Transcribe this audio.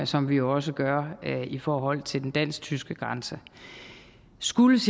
som vi også gør i forhold til den dansk tyske grænse skulle